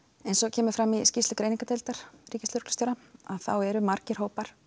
kemur fram í skýrslu greiningardeildar ríkislögreglustjóra þá eru margir hópar